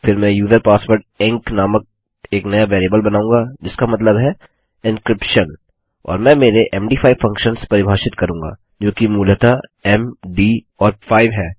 फिर मैं user password ENC नामक एक नया वेरिएबल बनाऊँगा जिसका मतलब है एन्क्रिप्शन और मैं मेरे मद5 फंक्शन्स परिभाषित करूँगा जोकि मूलतः एम डी और 5 है